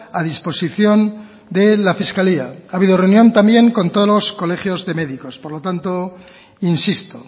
a disposición de la fiscalía ha habido reunión también con todos los colegios de médicos por lo tanto insisto